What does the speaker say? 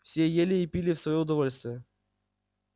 все ели и пили в своё удовольствие